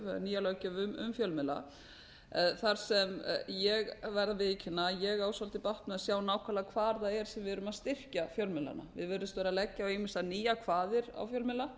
nýja heildarlöggjöf um fjölmiðla þar sem ég verð að viðurkenna að ég á dálítið bágt með að sjá nákvæmlega hvar það er sem við erum að styrkja fjölmiðlana við virðumst vera að leggja ýmsar nýjar kvaðir á fjölmiðla